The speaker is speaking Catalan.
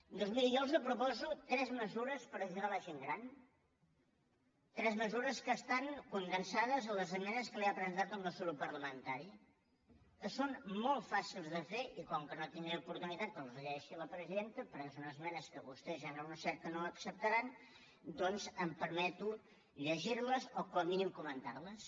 doncs miri jo els proposo tres mesures per ajudar la gent gran tres mesures que estan condensades en les esmenes que li ha presentat el nostre grup parlamentari que són molt fàcils de fer i com que no tindré oportunitat que les llegeixi la presidenta perquè són esmenes que vostès ja han anunciat que no acceptaran doncs em permeto llegir les o com a mínim comentar les